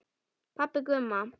Pabbi Gumma!